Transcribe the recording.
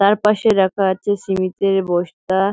তার পাশে রাখা আছে সিমিন্তের বস্তা।